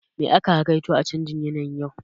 Me aka hakaito a canjin yanayin yau?